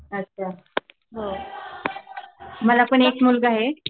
अच्छा बर मला पण एक मुलगा आहे.